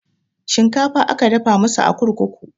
Shinkafa aka dafa masu a kurkuku